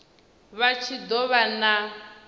vha tshi do vha na